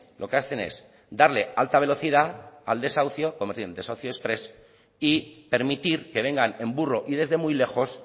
lo que hacen es darle alta velocidad al desahucio convirtiéndolo en desahucio exprés y permitir que vengan en burro y desde muy lejos